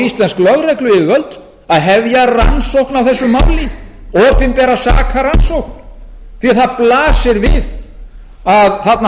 íslensk lögregluyfirvöld að hefja rannsókn á þessu máli opinbera sakarannsókn því að það blasir við að þarna hafa